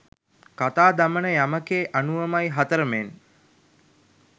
කතා දමන යමකෙ අනුවමයි හතරමෙන්.